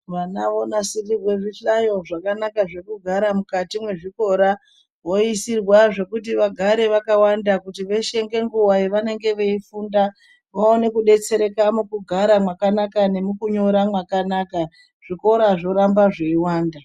Vana vonasirirwe zvihlayo zvakanaka zvekugara mukati mwezvikora voisirwa zvekuti vagare vakawanda kuti veshe ngenguwa yavanenge veifunda vaone kudetserereka mukugara mwakanaka nemukunyora mwakanaka zvikora zvoramba zveiyiwanda.